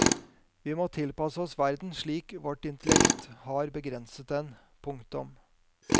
Vi må tilpasse oss verden slik vårt intellekt har begrenset den. punktum